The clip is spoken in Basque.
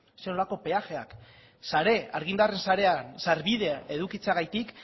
zer nolako peajeak sare argindarren sareak sarbidea edukitzeagatik